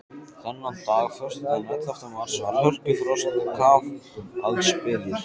Þennan dag, föstudaginn ellefta mars, var hörkufrost og kafaldsbylur.